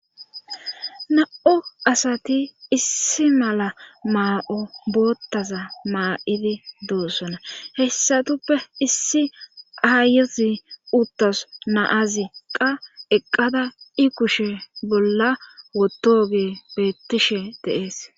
Na7o asati issi mala maa7o boottaza maa7idi doossona hessatuppe issi aayozi uttas naaziqqa eqqada i kushe bolla wotooge beettishe de7ees.